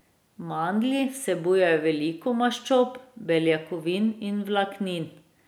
Mandlji vsebujejo veliko maščob, beljakovin in vlaknin.